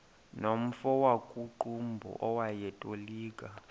nomfo wakuqumbu owayetolika